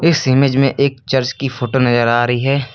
इस इमेज में एक चर्च की फोटो नजर आ रही है।